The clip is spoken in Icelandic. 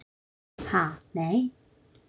Ha, nei.